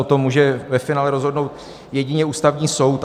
O tom může ve finále rozhodnout jedině Ústavní soud.